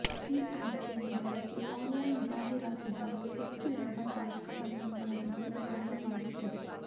ಈ ಆಯ್ಕೆಯನ್ನು ಬಳಸಿ ಆನ್ಲೈನ್ ಜಾಹೀರಾತುದಾರರು ಹೆಚ್ಚು ಲಾಭದಾಯಕ ಸಂಬಂಧಗಳನ್ನು ಕಾರಣವಾಗುತ್ತದೆ